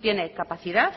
tiene capacidad